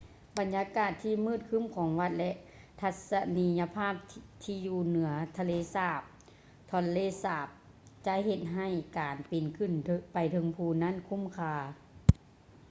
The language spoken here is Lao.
ບັນຍາກາດທີ່ມືດຄື້ມຂອງວັດ ແລະ ທັດສະນີຍະພາບທີ່ຢູ່ເໜືອທະເລສາບ tonle sap ຈະເຮັດໃຫ້ການປີນຂຶ້ນໄປເທິງພູນັ້ນຄຸ້ມຄ່າ